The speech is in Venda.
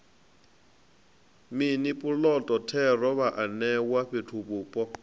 mini puloto thero vhaanewa fhethuvhupo